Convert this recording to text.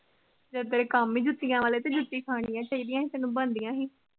ਜਦ ਤੇਰੇ ਕੰਮ ਈ ਜੁਤੀਆਂ ਵਾਲੇ ਤੇ ਜੁਤੀਆਂ ਖਾਣੀਆਂ ਚਾਹੀਦੀਆਂ ਤੇਨੂੰ ਬਣਦੀਆਂ